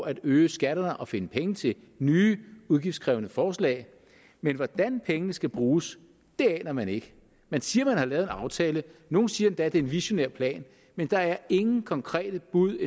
at øge skatter og finde penge til nye udgiftskrævende forslag men hvordan pengene skal bruges aner man ikke man siger at man har lavet en aftale nogle siger endda at det er en visionær plan men der er endnu ingen konkrete bud